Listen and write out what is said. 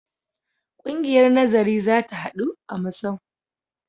Ƙungiyar nazari za ta haɗu a masau.